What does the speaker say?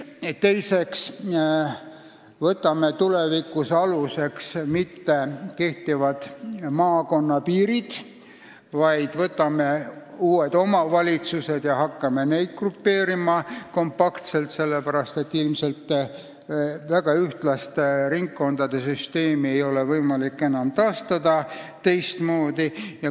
Teiseks ei võta me tulevikus aluseks mitte kehtivad maakonnapiirid, vaid võtame ette uued omavalitsused ja hakkame neid kompaktselt grupeerima, sest enam-vähem ühesuuruste ringkondade süsteemi ei ole võimalik enam teistmoodi taastada.